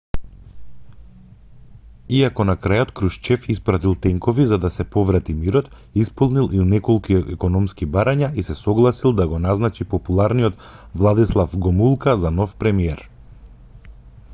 иако на крајот крушчев испратил тенкови за да се поврати мирот исполнил и неколку економски барања и се согласил да го назначи популарниот владислав гомулка за нов премиер